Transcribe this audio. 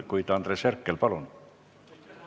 Andres Herkel, palun!